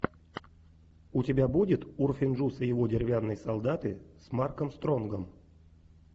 у тебя будет урфин джюс и его деревянные солдаты с марком стронгом